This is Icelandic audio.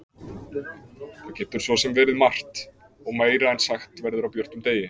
Það getur svo sem verið margt. og meira en sagt verður á björtum degi.